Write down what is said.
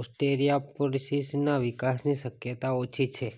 ઓસ્ટીયોપોરોસિસના વિકાસની શક્યતા ઓછી છે